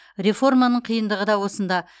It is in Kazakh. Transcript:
реформаның қиындығы да осында